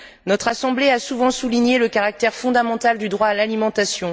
Notre Assemblée a souvent souligné le caractère fondamental du droit à l'alimentation.